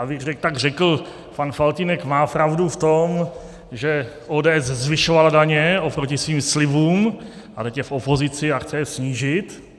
Abych tak řekl, pan Faltýnek má pravdu v tom, že ODS zvyšovala daně oproti svým slibům, a teď je v opozici a chce je snížit.